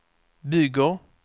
bygger